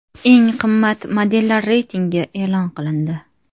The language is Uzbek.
Eng qimmat modellar reytingi e’lon qilindi.